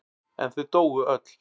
En þau dóu öll.